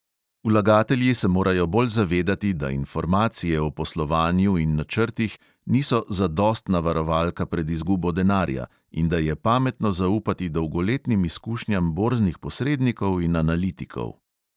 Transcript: Vlagatelji se morajo bolj zavedati, da informacije o poslovanju in načrtih niso zadostna varovalka pred izgubo denarja in da je pametno zaupati dolgoletnim izkušnjam borznih posrednikov in analitikov.